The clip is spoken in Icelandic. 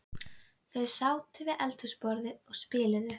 Þau sátu við eldhúsborðið og spiluðu